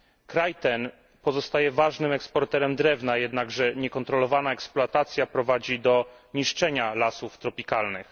Kraj ten pozostaje ważnym eksporterem drewna, jednakże niekontrolowana eksploatacja prowadzi do niszczenia lasów tropikalnych.